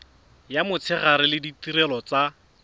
ya motshegare le ditirelo tsa